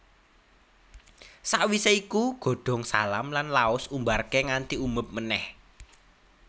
Sakwisé iku godhong salam lan laos Umbarké nganti umeb meneh